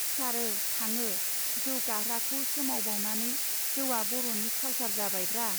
सिखारो थाङो जौ गाहृाखौ सोमावबावनानै जौवा बर'नि कालसार जाबायब्रा.